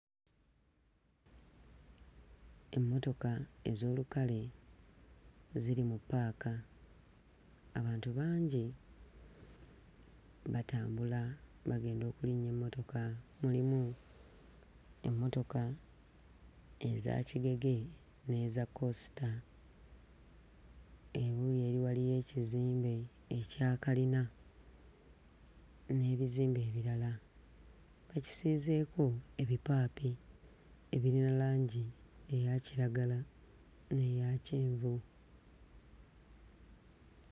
Emmotoka ez'olukale ziri mu ppaaka, qbantu bangi batambula bagenda okulinnya emmotoka. Mulimu emmotoka eza kigege n'eza kosita. Ebuuyi eri waliyo ekizimbe ekya kalina n'ebizimbe ebirala, bakisiizeeko ebipaapi ebirina langi eya kiragala n'eya kyenvu.